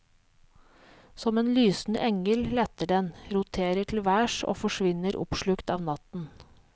Som en lysende engel letter den, roterer til værs og forsvinner oppslukt av natten.